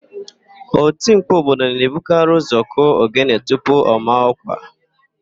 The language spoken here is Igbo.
Otimkpu obodo na-ebukarị ụ́zọ̀ kụọ ogene tupu ọ maa ọ́kwà.